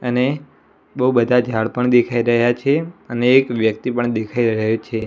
અને બૌ બધા ઝાડ પણ દેખાય રહ્યા છે અને એક વ્યક્તિ પણ દેખાય રહ્યો છે.